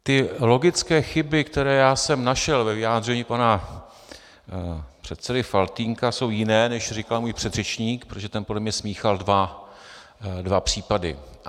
Ty logické chyby, které já jsem našel ve vyjádření pana předsedy Faltýnka, jsou jiné, než říkal můj předřečník, protože ten podle mě smíchal dva případy.